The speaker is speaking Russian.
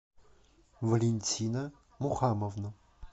валентина мухамовна